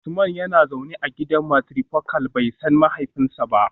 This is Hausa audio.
Usman yana zaune a gidan matrifocal, bai san mahaifinsa ba